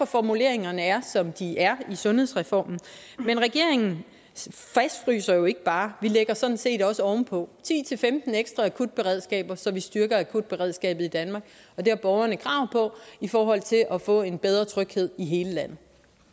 formuleringerne er som de er i sundhedsreformen men regeringen fastfryser jo ikke bare vi lægger sådan set også ovenpå ti til femten ekstra akutberedskaber så vi styrker akutberedskabet i danmark og det har borgerne krav på i forhold til at få en bedre tryghed i hele landet